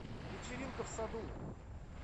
вечеринка в саду